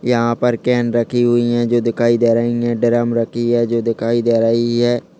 यहां पर केन रखी हुई है जो दिखाई दे रही है ड्रम रखी है जो दिखाई दे रही है।